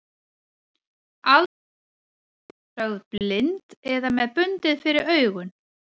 Aldrei er hún þar sögð blind eða með bundið fyrir augun.